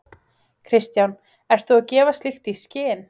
Kristján: Ert þú að gefa slíkt í skyn?